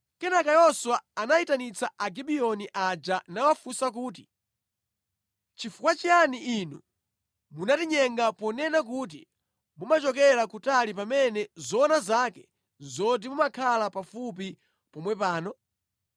Kenaka Yoswa anayitanitsa Agibiyoni aja nawafunsa kuti, “Chifukwa chiyani inu munatinyenga ponena kuti mumachokera kutali pamene zoona zake nʼzoti mumakhala pafupi pomwe pano?